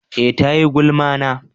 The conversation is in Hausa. eh ta yi gulma na